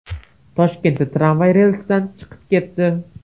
Toshkentda tramvay relsdan chiqib ketdi.